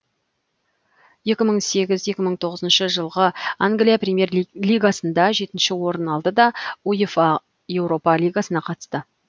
екі мың сегіз екі мың тоғызыншы жылғы англия премьер лигасында жетінші орын алды да уефа еуропа лигасына қатысты